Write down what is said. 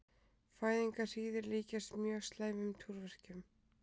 Fæðingarhríðir líkjast mjög slæmum túrverkjum.